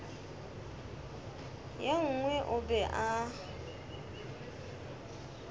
ye nngwe o be a